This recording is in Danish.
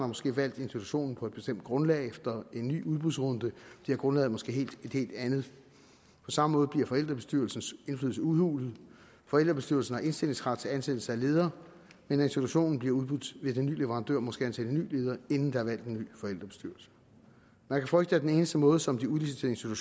måske valgt institutionen på et bestemt grundlag men efter en ny udbudsrunde bliver grundlaget måske et helt andet på samme måde bliver forældrebestyrelsens indflydelse udhulet forældrebestyrelsen har indstillingsret til ansættelse af ledere men når institutionen bliver udbudt vil den nye leverandør måske ansætte en ny leder inden der er valgt en ny forældrebestyrelse man kan frygte at den eneste måde som de udliciterede